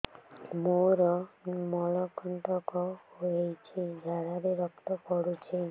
ମୋରୋ ମଳକଣ୍ଟକ ହେଇଚି ଝାଡ଼ାରେ ରକ୍ତ ପଡୁଛି